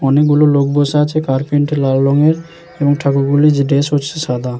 অনেক গুলো লোক বসে আছে কারপেন্টে -টি লাল রঙের এবং ঠাকুর গুলি যে ড্রেস হচ্ছে সাদা।